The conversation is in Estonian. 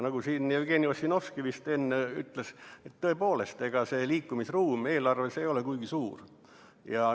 Nagu siin Jevgeni Ossinovski vist enne ütles, tõepoolest, ega liikumisruum eelarves ei ole kuigi suur.